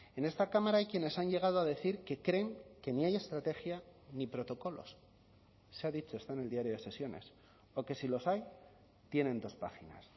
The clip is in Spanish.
en esta cámara hay quienes han llegado a decir que creen que ni hay estrategia ni protocolos se ha dicho está en el diario de sesiones o que si los hay tienen dos páginas